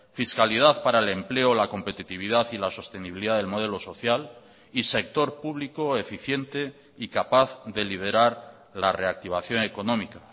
fiscalidad para el empleo la competitividad y la sostenibilidad del modelo social y sector público eficiente y capaz de liberar la reactivación económica